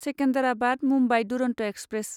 Secunderabad Mumbai Duronto express